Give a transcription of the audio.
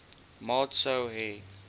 maat sou hê